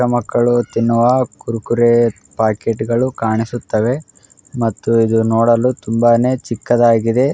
ಪುಟ್ಟ ಮಕ್ಕಳು ತಿನ್ನುವ ಕುರುಕುರೆ ಪ್ಯಾಕೆಟ್ಗಳು ಕಾಣಿಸುತ್ತಿದೆ ಮತ್ತು ಯದುನೋಡಲು ತುಂಬಾನೇ ಚಿಕ್ಕದಾಗಿದೆ.